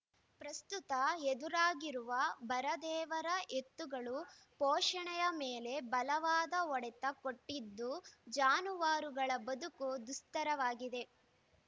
ಪ್ರಸ್ತುತ ಎದುರಾಗಿರುವ ಬರ ದೇವರ ಎತ್ತುಗಳು ಪೋಷಣೆಯ ಮೇಲೆ ಬಲವಾದ ಹೊಡೆತ ಕೊಟ್ಟಿದ್ದು ಜಾನುವಾರುಗಳ ಬದುಕು ದುಸ್ತರವಾಗಿದೆ